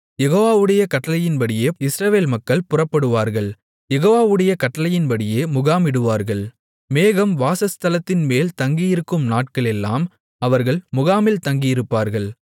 யெகோவாவுடைய கட்டளையின்படியே இஸ்ரவேல் மக்கள் புறப்படுவார்கள் யெகோவாவுடைய கட்டளையின்படியே முகாமிடுவார்கள் மேகம் வாசஸ்தலத்தின்மேல் தங்கியிருக்கும் நாட்களெல்லாம் அவர்கள் முகாமில் தங்கியிருப்பார்கள்